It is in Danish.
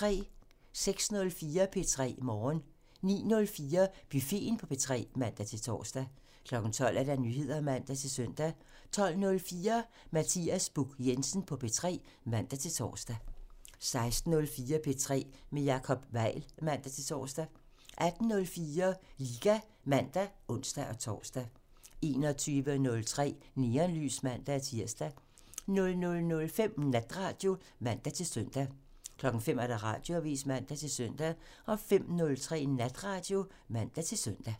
06:04: P3 Morgen 09:04: Buffeten på P3 (man-tor) 12:00: Nyheder (man-søn) 12:04: Mathias Buch Jensen på P3 (man-tor) 16:04: P3 med Jacob Weil (man-tor) 18:04: Liga (man og ons-tor) 21:03: Neonlys (man-tir) 00:05: Natradio (man-søn) 05:00: Radioavisen (man-søn) 05:03: Natradio (man-søn)